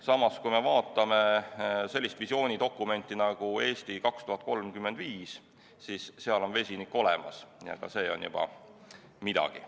Samas, kui me vaatame sellist visioonidokumenti nagu "Eesti 2035", siis seal on vesinikku mainitud, ja ka see on juba midagi.